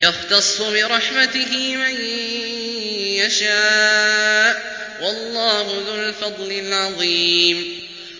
يَخْتَصُّ بِرَحْمَتِهِ مَن يَشَاءُ ۗ وَاللَّهُ ذُو الْفَضْلِ الْعَظِيمِ